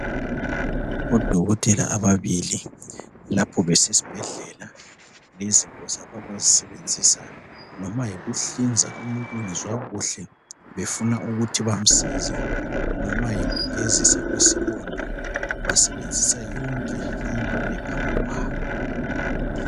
Odokotela ababili lapho besesbhedlela izinto zabo abazisebenzisa noma yikuhlinza umuntu ongezwa kuhle befuna ukuthi bamsize, noma yikugezisa kwesilonda basebenzisa yonke into ephambikwabo.